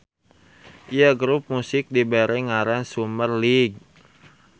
Ieu grup musik dibere ngaran Summer League.